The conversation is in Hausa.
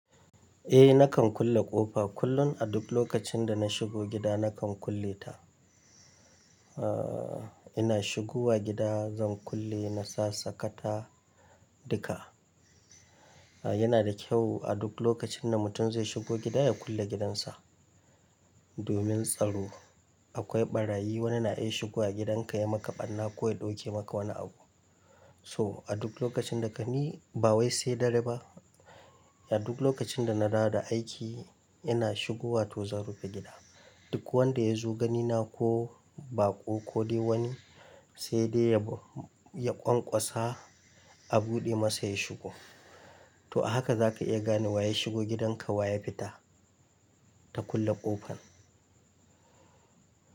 Eh nakan kulle ƙofa kullum a duk lokacin da na shigo gida nakan kulle ta. Aaa, ina shigowa gida zan kulle na sa sakata duka. A yana da kyau a duk lokacin da mutum zai shigo gida ya kulle gidansa. Domin tsaro akwai ɓarayi wani na iya shigowa gidanka ya maka ɓarna ko ya ɗauke maka wani abu. So a duk lokacin da ka ni bawai sai dare ba, a duk lokacin da na dawo da aiki ina shigowa tozarufin gida. Duk wanda ya zo gani na ko baƙo ko dai wani sai dai ya, ya ƙwaƙwasa a buɗe masa ya shigo. To haka zaka iya gane wa ya shigo gidanka wa ya fita ta kulle ƙofar.